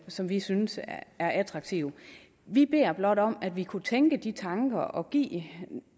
som vi synes attraktive vi beder blot om at vi kunne tænke de tanker og give